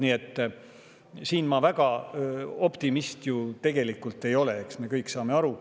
Nii et ma väga optimistlik tegelikult ei ole, eks me kõik saa sellest aru.